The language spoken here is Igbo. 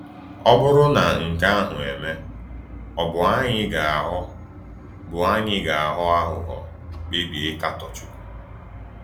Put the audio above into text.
Ọ bụrụ na nke ahụ eme, ọ̀ bụ anyị ga-aghọ bụ anyị ga-aghọ aghụghọ, kpebie ịkatọ Chukwu?